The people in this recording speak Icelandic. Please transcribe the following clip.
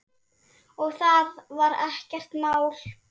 Og það var ekkert mál.